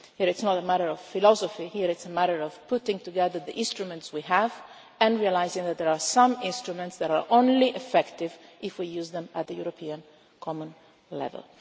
It is not a matter of philosophy here, it is a matter of putting together the instruments we have and realising that there are some instruments that are only effective if we use them at the European common level.